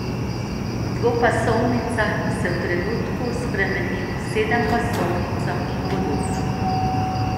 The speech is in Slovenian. Dvopasovnica se v trenutku spremeni v sedempasovnico in podobno.